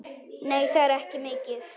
Nei, það er ekki mikið.